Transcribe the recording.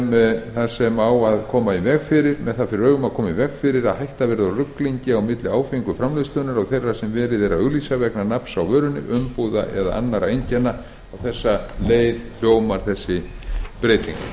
með það fyrir augum að koma í veg fyrir að hætta verði á ruglingi á milli áfengrar framleiðslu og þeirrar sem verið er að auglýsa vegna nafns vörunnar umbúða eða annarra einkenna á þessa leið hljómar breytingin við höfum